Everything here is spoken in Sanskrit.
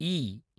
ई